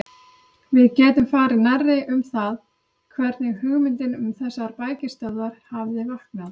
Við getum farið nærri um það, hvernig hugmyndin um þessar bækistöðvar hafði vaknað.